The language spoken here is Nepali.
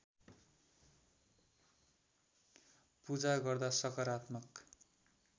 पूजा गर्दा सकारात्मक